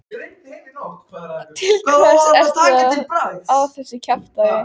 Til hvers ertu að þessu kjaftæði?